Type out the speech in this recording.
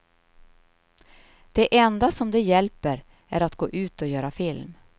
Det enda som då hjälper är att gå ut och göra film.